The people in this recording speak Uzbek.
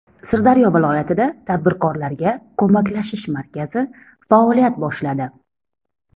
Sirdaryo viloyatida tadbirkorlarga ko‘maklashish markazi faoliyat boshladi.